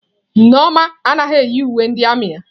Nneoma anaghị eyi uwe ndị armiị ya.